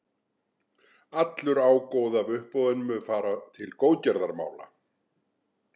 Allur ágóði af uppboðinu mun fara til góðgerðamála.